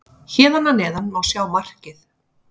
Hér að neðan má sjá markið.